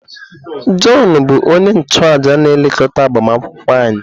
Jọn bụ onye nchụàjà na-elekọta agbamakwụkwọ anyị.